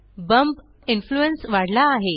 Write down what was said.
bump influence वाढला आहे